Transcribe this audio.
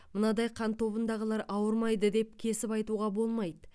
мынадай қан тобындағылар ауырмайды деп кесіп айтуға болмайды